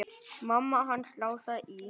Mamma hans Lása í